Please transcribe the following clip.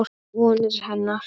Vonir hennar.